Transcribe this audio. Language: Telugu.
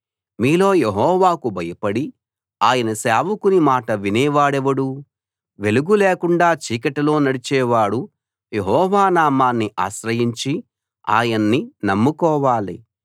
మీలో యెహోవాకు భయపడి ఆయన సేవకుని మాట వినే వాడెవడు వెలుగు లేకుండా చీకటిలో నడిచేవాడు యెహోవా నామాన్ని ఆశ్రయించి ఆయన్ని నమ్ముకోవాలి